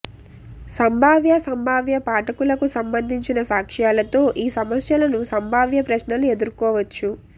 సంభావ్య సంభావ్య పాఠకులకు సంబంధించిన సాక్ష్యాలతో ఈ సమస్యలను సంభావ్య ప్రశ్నలు ఎదుర్కోవచ్చు